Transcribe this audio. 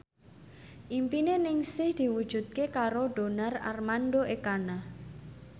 impine Ningsih diwujudke karo Donar Armando Ekana